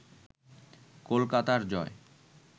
কলকাতার জয়